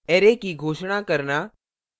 array की घोषणा करना